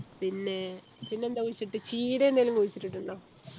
പിന്നെ പിന്നെ എന്ത കുഴിച്ചിട്ട് ചീര എന്തേലും കുഴിച്ചിട്ടുണ്ടോ